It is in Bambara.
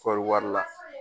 Kɔri wari la